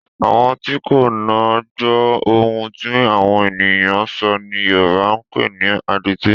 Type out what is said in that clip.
Àwọn tí kò ná gbọ́ ohun tí àwọn ènìyàn ń sọ̀ ni Yorùbá ń pè ní adití